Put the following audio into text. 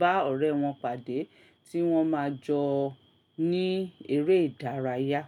bá ọ̀rẹ́ wọn pàdé, tí wọ́n máa jọ ní eré ìdárayá.